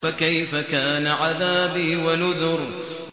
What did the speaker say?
فَكَيْفَ كَانَ عَذَابِي وَنُذُرِ